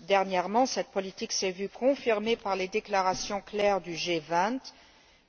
Dernièrement, cette politique s'est vue confirmée par les déclarations claires du G20